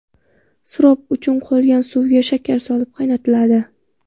Sirop uchun qolgan suvga shakar solib qaynatiladi.